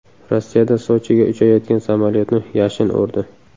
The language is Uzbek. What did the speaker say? Rossiyada Sochiga uchayotgan samolyotni yashin urdi.